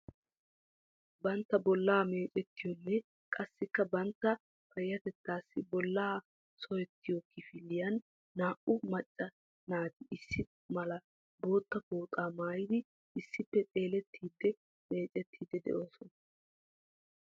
Bantta bollaa meecettiyoonne qassikka bantta payattettassi bolla sohettiyo kifiliyan naa"u macca naati issi mala bootta pooxaa maayidi issippe xeellettiiddi miicciiddi de'oosona.